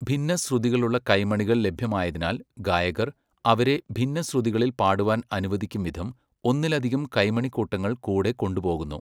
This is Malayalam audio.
ഭിന്നശ്രുതികളുള്ള കൈമണികൾ ലഭ്യമായതിനാൽ ഗായകർ, അവരെ ഭിന്നശ്രുതികളിൽ പാടുവാൻ അനുവദിക്കുംവിധം, ഒന്നിലധികം കൈമണിക്കൂട്ടങ്ങൾ കൂടെ കൊണ്ടുപോകുന്നു.